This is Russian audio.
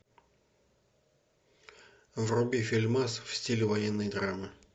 а